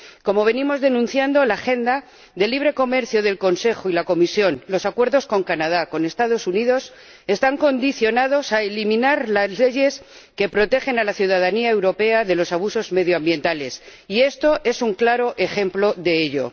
Como venimos denunciando, la agenda de libre comercio del Consejo y la Comisión, los acuerdos con Canadá, con Estados Unidos, están condicionados a eliminar las leyes que protegen a la ciudadanía europea de los abusos medioambientales, y esto es un claro ejemplo de ello.